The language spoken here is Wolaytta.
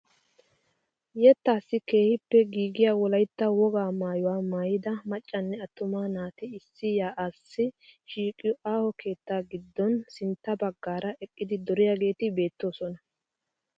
Yeettassi keehippe giigiyaa wolaytta wogaa maayuwa maayida maccanne attuma naati issi yaa'aassi shiiqiyoo aaho keettaa giddon sintta baggaara eqqidi duriyaageti beettosona.